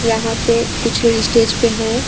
यहां पे कुछ लोग स्टेज पे है।